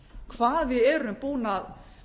hvað við erum búin að